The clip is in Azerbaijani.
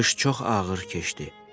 Qış çox ağır keçdi.